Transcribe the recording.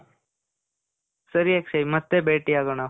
ಸರಿ ಅಕ್ಷಯ್. ಮತ್ತೆ ಭೇಟಿ ಆಗೋಣ.